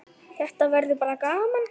Þetta verður bara gaman.